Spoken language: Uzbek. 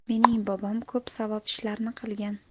Mening bobom ko‘p savob ishlarni qilgan.